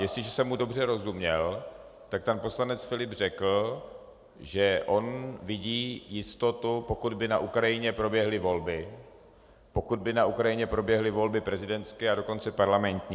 Jestliže jsem mu dobře rozuměl, tak pan poslanec Filip řekl, že on vidí jistotu, pokud by na Ukrajině proběhly volby, pokud by na Ukrajině proběhly volby prezidentské a dokonce parlamentní.